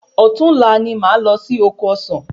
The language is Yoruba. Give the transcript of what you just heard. Òtún la ni máa lọ sí oko ọsán